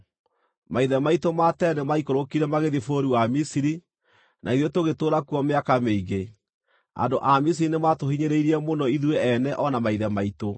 Maithe maitũ ma tene nĩmaikũrũkire magĩthiĩ bũrũri wa Misiri, na ithuĩ tũgĩtũũra kuo mĩaka mĩingĩ. Andũ a Misiri nĩmatũhiinyĩrĩirie mũno ithuĩ ene o na maithe maitũ,